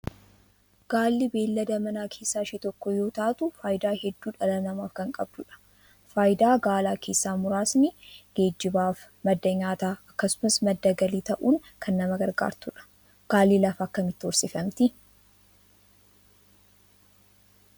Gaalli beeyilada manaa keessaa ishee tokko yoo taatu faayidaa hedduu dhala namaaf kan qabdudha. Faayidaa gaalaa keessa muraasni geejjibaaf madda nyaataa akkasumas madda galii ta'uun kan nama gargaartudha. Gaalli lafa akkamiitti horsiifamti?